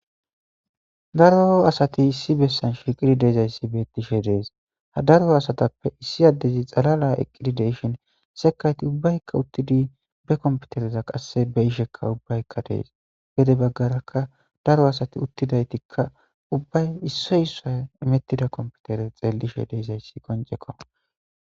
daro asati issi bessan shirqidi deezayssi beettishe dees ha daro asatappe issi addezi xalala eqqidi deshhin sekayti ubbaykka uttidi be komputereza qasse be ishekka ubbaykka dees bede baggarakka daro asati uttidaytikka ubbay issoy issa imettida komputere xeellishe deezayssi koncekko.